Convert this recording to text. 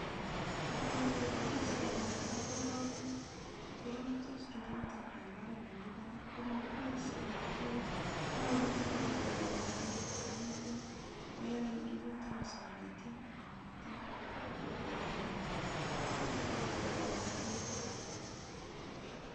Ngepoishie katoldolik korurtos minutik eng oret nemi barak komakipoishien konyoru chorirnatet ngungunyek akityo koyai rurutik kosakityo akityo kokon kora rurutik chemi barak.